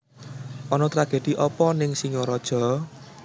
Ono tragedi opo ning Singaraja?